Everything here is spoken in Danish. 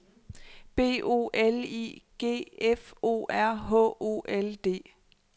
B O L I G F O R H O L D